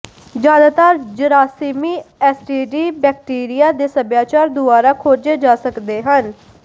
ਜ਼ਿਆਦਾਤਰ ਜਰਾਸੀਮੀ STD bacteria ਦੇ ਸਭਿਆਚਾਰ ਦੁਆਰਾ ਖੋਜੇ ਜਾ ਸਕਦੇ ਹਨ